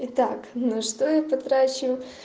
итак на что я потрачу